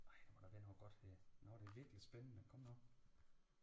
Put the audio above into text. Ej må da være noget godt her noget der virkelig er spændende kom nu